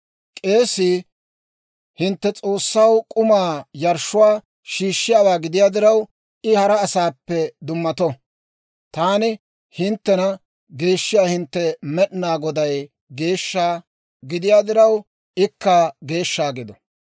K'eesii hintte S'oossaw k'umaa yarshshuwaa shiishshiyaawaa gidiyaa diraw, I hara asaappe dummato. Taani hinttena geeshshiyaa hintte Med'inaa Goday geeshsha gidiyaa diraw, ikka geeshsha gido.